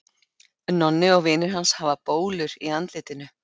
Nonni og vinir hans hafa bólur í andlitinu.